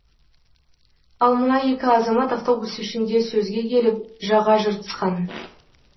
ал мына екі азамат автобус ішінде сөзге келіп жаға жыртысқан